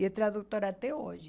É tradutora até hoje.